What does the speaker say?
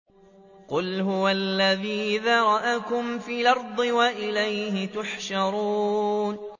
قُلْ هُوَ الَّذِي ذَرَأَكُمْ فِي الْأَرْضِ وَإِلَيْهِ تُحْشَرُونَ